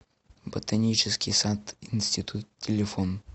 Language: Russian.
ботанический сад институт телефон